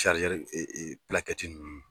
Sarizɛri e e nun.